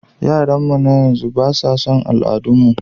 Yaranmu na yanzu ba su san al'adun mu ba.